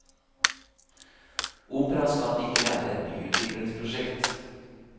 Opera skal ikke være et byutviklingsprosjekt.